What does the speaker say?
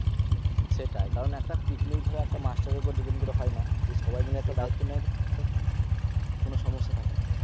সেটাই কারণ একটা picnic তুমি ধরো একটা master এর উপর depend করে হয়ে না যদি সবাই মাইল একটা দায়িত্ব নেয় কোনো সমস্যা থাকে না